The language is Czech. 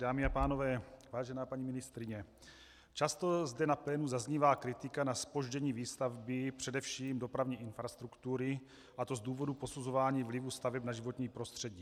Dámy a pánové, vážená paní ministryně, často zde na plénu zaznívá kritika na zpoždění výstavby především dopravní infrastruktury, a to z důvodu posuzování vlivu staveb na životní prostředí.